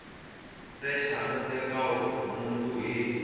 secha no teka nhundzu hi